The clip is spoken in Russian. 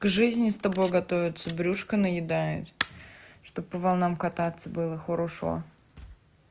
жизни с тобой готовятся брюшка наедает чтоб по волнам кататься было хорошо